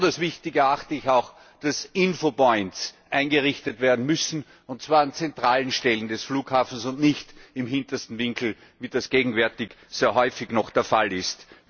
Als besonders wichtig erachte ich auch, dass Infopoints eingerichtet werden müssen, und zwar an zentralen Stellen des Flughafens und nicht im hintersten Winkel, wie das gegenwärtig sehr häufig noch der Fall ist.